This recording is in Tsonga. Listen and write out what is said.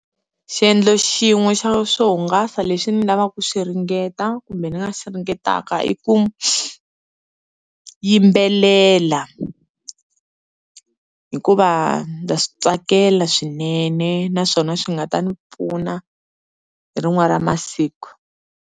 Xiendlo xin'we xa swo hungasa leswi ni lavaka ku swi ringeta kumbe ni nga swi ringetaka i ku yimbelela, hikuva ndza swi tsakela swinene naswona swi nga ta ni pfuna hi rin'wana ra masiku.